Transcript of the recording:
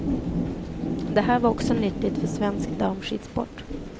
Det här var också nyttigt för svensk damskidsport.